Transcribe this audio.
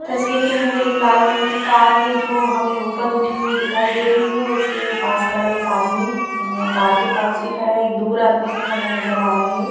तस्वीर के अंदर एक लाल रंग की कार है जो हमें ऊपर उठी हुई दिखाई दे रही है और उसके पास खड़ा है एक आदमी कार के पास भी खड़ा है एक दूर आदमी भी खड़ा नज़र आ रहा है।